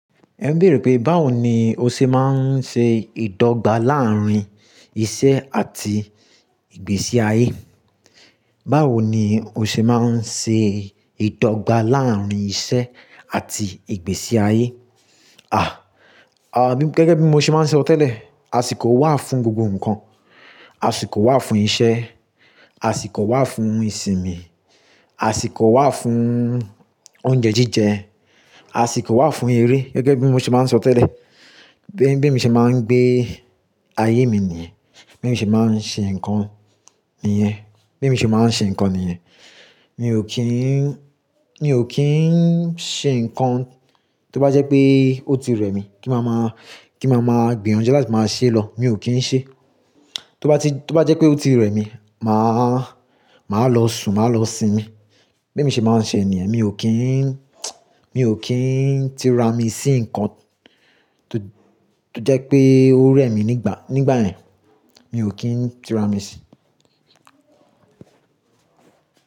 Ẹ ń bèèrè pé báwo ni o ṣe máa ń ṣe ìdọ́gba láàrín iṣẹ́ àti ìgbésí ayé. Báwo ni o ṣe máa ń ṣe ìdọ́gba láàrín iṣẹ́ àti ìgbésí ayé? À, à gẹ́gẹ́ bí mo ṣe máa ń sọ tẹ́lẹ̀, àsìkò wà fún gbogbo ǹkan. Àsìkò wà fún iṣẹ́, àsìkò wà fún ìsinmi, àsìkò wà fún oúnjẹ jíjẹ, àsìkò wà fún eré. Gẹ́gẹ́ bí mo ṣe máa ń sọ tẹ́lẹ̀, bí, bí mo ṣe máa ń gbé ayé mi nìyẹn. Bí èèyàn ṣe máa ń ṣe nǹkan nìyẹn. Bí mo ṣe máa ń ṣe nǹkan nìyẹn. Mi ò kí ń, mi ò kí ń ṣe nǹkan tó bá jẹ́ pé ó ti rẹ̀ mí kí màmá, kí màmá gbin ọ̀unjẹ́ láti máa ṣe lọ. Mi ò kí ń ṣe. Tó bá ti, tó bá jẹ́ pé ó ti rẹ̀ mí, màá, màá lọ sùn, màá lọ sinmi. Bí emi ṣe máa ń ṣe nìyẹn. Mi ò kí ń, mi ò kí ń tirami sí nǹkan tó, tó jẹ́ pé ó rẹ̀ mí nígbà, nígbà ẹn. Mi ò kí ń tirami sí.